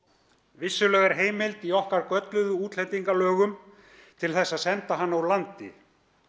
vissulega er heimild í okkar gölluðu útlendingalögum til að senda hana úr landi